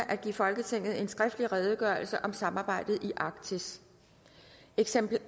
at give folketinget en skriftlig redegørelse om samarbejdet i arktis eksemplarer